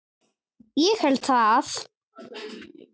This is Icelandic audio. Ég held það?